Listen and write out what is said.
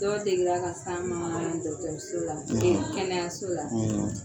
Dɔ deli ka s'an ma an ka dɔgɔtɔrso la e an ka kɛnɛyaso la